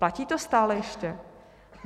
Platí to stále ještě?